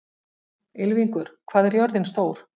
Ylfingur, hvað er jörðin stór?